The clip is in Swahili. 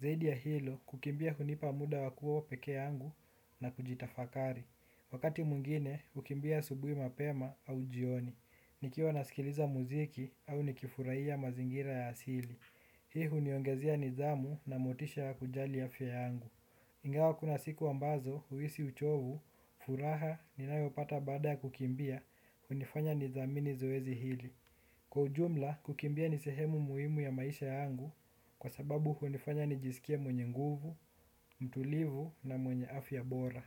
Zaidi ya hilo, kukimbia hunipa muda wa kuwa pekee yangu na kujitafakari. Wakati mwingine, hukimbia asubuhi mapema au jioni. Nikiwa nasikiliza muziki au nikifurahia mazingira ya asili. Hii huniongezea nidhamu na motisha ya kujali afya yangu. Ingawa kuna siku ambazo, huhisi uchovu, furaha, ninayopata baada kukimbia, hunifanya nidhamini zoezi hili. Kwa ujumla, kukimbia ni sehemu muhimu ya maisha yangu, kwa sababu hunifanya nijisikie mwenye nguvu, mtulivu na mwenye afya bora.